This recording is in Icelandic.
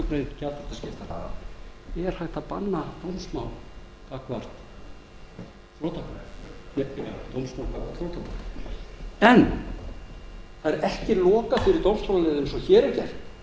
grein gjaldþrotaskiptalaga er hægt að banna dómsmál gagnvart þrotabúi en það er ekki lokað fyrir dómstólaleiðina eins og hér er gert